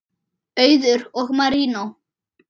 Auður og Marinó.